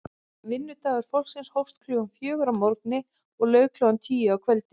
Vinnudagur fólksins hófst klukkan fjögur að morgni og lauk klukkan tíu að kvöldi.